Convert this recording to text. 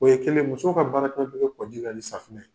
O ye kelen e, muso ka baaraɛcogo koli ka kɛ ni safunɛ ye.